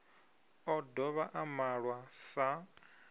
o dovha a malwa sa